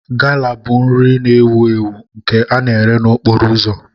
Gala bụ nri na-ewu ewu nke a na-eré n'okporo ụzọ.